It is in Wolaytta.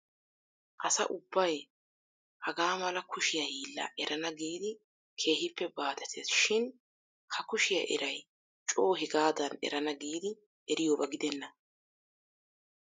Asa ubbay hagaa mala kushiyaa hiillaa erana giidi keehippe baaxettees shin ha kushiyaa eray coo hegadan erana giidi eriyooba gidena.